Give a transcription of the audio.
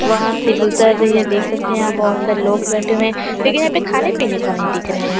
वहाँ से गुजर रही हैं देख सकते हैं यहाँ बहुत सारे लोग बैठे हुए हैं लेकिन यहाँ खाने-पीने का नहीं दिख रहा हैं यहाँ--